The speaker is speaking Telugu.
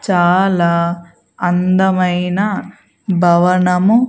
చాలా అందమైన భవనము.